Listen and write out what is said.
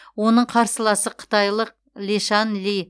оның қарсыласы қытайлық лешан ли